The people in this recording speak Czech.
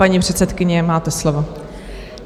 Paní předsedkyně, máte slovo.